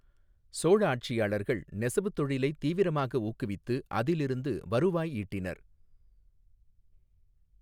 சோழ ஆட்சியாளர்கள் நெசவுத் தொழிலை தீவிரமாக ஊக்குவித்து அதிலிருந்து வருவாய் ஈட்டினர்.